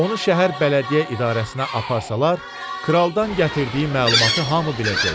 Onu şəhər bələdiyyə idarəsinə aparsalar, kraldan gətirdiyi məlumatı hamı biləcək.